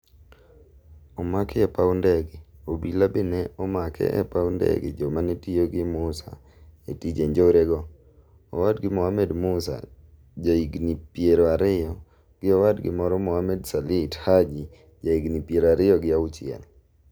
Omaki e paw ndege, Obila be ne omake e paw ndege joma ne tiyo gi Musa e tije njore go, Owadgi Mohammed Musa ja higni piero ariyo, gi owadgi moro Mohammed Salit Haji ja higni piero ariyo gi auchiel